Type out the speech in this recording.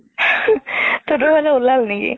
তহতৰ ফালে উলাল নেকি?